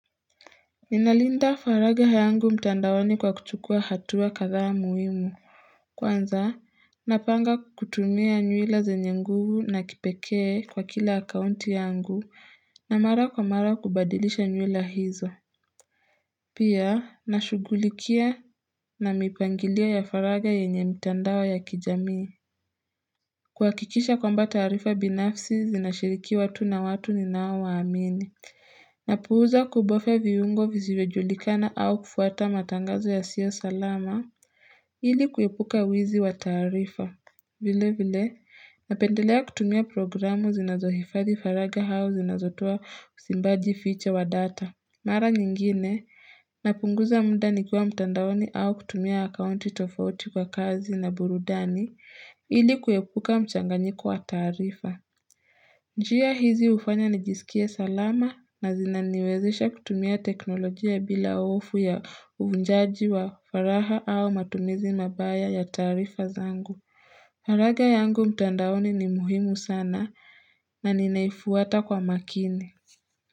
Ninalinda faragha yangu mtandaoni kwa kuchukua hatua kadhaa muhimu Kwanza napanga kutumia nywila zenye nguvu na kipekee kwa kila akaunti yangu na mara kwa mara kubadilisha nywila hizo Pia nashughulikia na mipangilio ya faraga yenye mtandao ya kijamii kuhakikisha kwamba taarifa binafsi zinashiriki watu na watu ninaowaamini Napuuza kubofya viungo visivyojulikana au kufuata matangazo yasiyo salama ili kuepuka wizi wa taarifa. Vile vile, napendelea kutumia programu zinazohifadhi faraga au zinazotoa simbaji ficha wa data. Mara nyingine, napunguza muda nikuwa mtandaoni au kutumia akaunti tofauti kwa kazi na burudani ili kuepuka mchanganyiko wa taarifa. Njia hizi hufanya nijisikie salama na zinaniwezesha kutumia teknolojia bila hofu ya uvunjaji wa faragha au matumizi mabaya ya taarifa zangu. Faragha yangu mtandaoni ni muhimu sana na ninaifuata kwa makini.